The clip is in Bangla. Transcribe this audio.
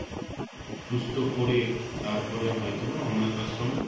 তারপরে হয়তোবা অনাথ আশ্রমে